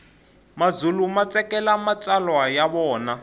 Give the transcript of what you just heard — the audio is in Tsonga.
mazulu matsakela matsalwa yavona